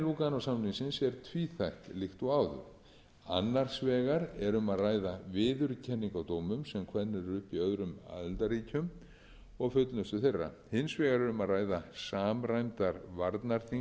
lúganósamningsins er tvíþætt líkt og áður annars vegar er um að ræða viðurkenningu á dómum sem kveðnir eru upp í öðrum aðildarríkjum og fullnustu þeirra hins vegar er um að ræða samræmdar varnarþingsreglur þannig varnarþing ræðst